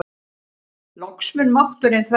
Loks mun mátturinn þverra.